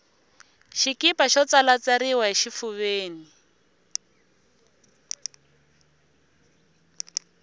xikipa xo tsalatsariwa xifuveni